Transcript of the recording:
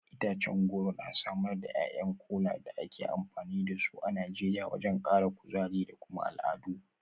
Itacen goro na samar da ’ya’yan Kola da ake amfani da su a Najeriya wajen kara kuzari da kuma al’adu.